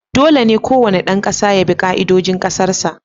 Dole ne kowane ɗan kasa ya bi ka'idojin Kasar sa